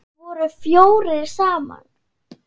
Þeir voru fjórir saman.